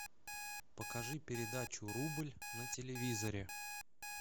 покажи передачу рубль на телевизоре